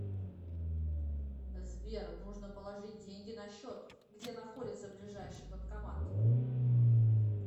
сбер нужно положить деньги на счет где находится ближайший банкомат